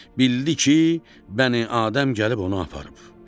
Bildiki, Bəni-Adəm gəlib onu aparıb.